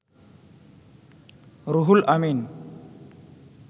Ruhul Amin